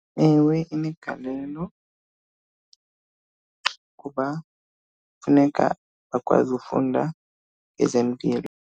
Ewe, inegalelo kuba funeka bakwazi ufunda ezempilo.